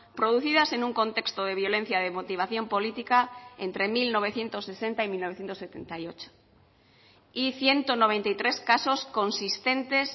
producidas en un contexto de violencia de motivación política entre mil novecientos sesenta y mil novecientos setenta y ocho y ciento noventa y tres casos consistentes